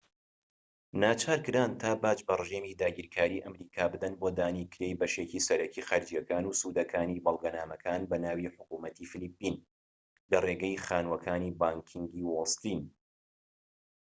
ناچارکران تا باج بە ڕژێمی داگیرکاری ئەمریکا بدەن بۆ دانی کرێی بەشێکی سەرەکی خەرجیەکان و سوودەکانی بەڵگەنامەکان بە ناوی حکومەتی فلیپین لە ڕێگەی خانووەکانی بانكینگی وۆڵ سترین